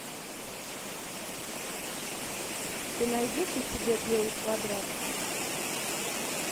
ты найдешь у себя белый квадрат